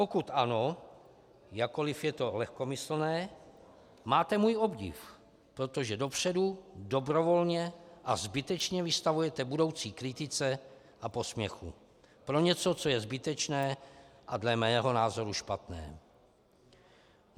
Pokud ano, jakkoliv je to lehkomyslné, máte můj obdiv, protože dopředu, dobrovolně a zbytečně vystavujete budoucí kritice a posměchu pro něco, co je zbytečné a dle mého názoru špatné.